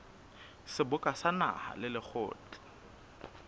seboka sa naha le lekgotla